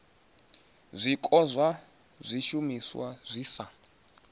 zwiko zwa zwishumiswa zwi sa